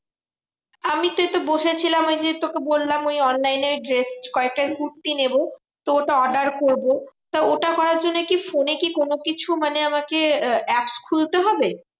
আমিতো এইতো বসে ছিলাম ওই যে তোকে বললাম ওই online এ dress কয়েকটা কুর্তি নেবো। তো ওটা order করবো। তা ওটা করার জন্য কি ফোনে কি কোনোকিছু মানে আমাকে আহ apps খুলতে হবে?